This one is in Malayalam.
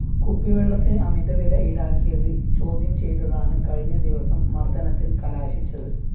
കുപ്പിവെള്ളത്തിന് അമിതവില ഈടാക്കിയത് ചോദ്യം ചെയ്തതാണ് കഴിഞ്ഞദിവസം മര്‍ദനത്തില്‍ കലാശിച്ചത്